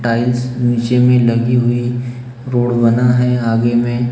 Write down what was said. tiles नीचे में लगी हुई रोड बना है आगे में--